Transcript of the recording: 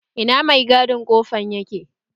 Ina mai gadin kofan yake?